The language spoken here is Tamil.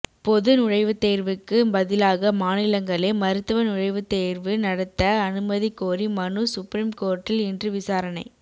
பொது நுழைவுத்தேர்வுக்கு பதிலாக மாநிலங்களே மருத்துவ நுழைவுத்தேர்வு நடத்த அனுமதி கோரி மனு சுப்ரீம் கோர்ட்டில் இன்று விசாரணை